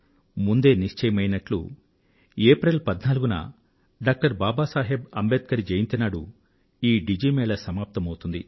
ముందే నిశ్చయమైనట్లు ఏప్రిల్ 14న డాక్టర్ బాబా సాహెబ్ అంబేడ్కర్ జయంతి నాడు ఈ డిజి మేళా సమాప్తమౌతుంది